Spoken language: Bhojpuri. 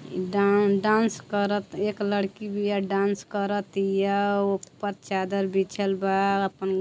इ डां डांस करत एक लड़की बिया। डांस करतिया। ओपर चादर बिछल बा। आपन